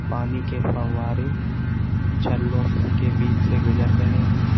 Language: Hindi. पानी के फव्वारे छल्लों के बीच से गुजर रहे हैं।